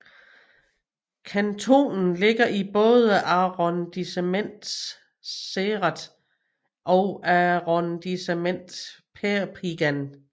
Kantonen ligger i både Arrondissement Céret og Arrondissement Perpignan